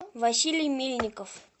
василий мильников